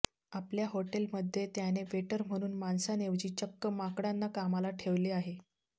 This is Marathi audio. आपल्या हॉटेलमध्ये त्याने वेटर म्हणून माणसांऐवजी चक्क माकडांना कामाला ठेवले आहे